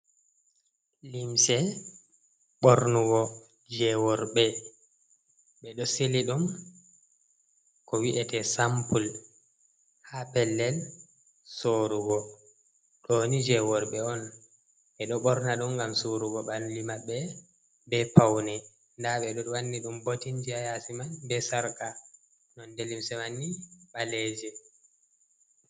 Limse bornugo jeworɓe be do sili dum ko wi’ete sampul, ha pellel sorugo doni jeworɓe on, ɓedo borna dum gam sorugo banli mabɓe be paune, ɗaɓe do wanni dum botinji ha yasi man be sarka nonɗe limse manni baleje.